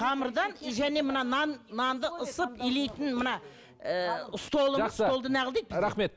қамырдан и және мына нан нанды ысып илейтін мына ііі столымыз